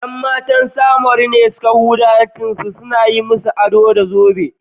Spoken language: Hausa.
’Yan matan Samaru da dama ne suka huda hancinsu suna yi musu ado da zobe.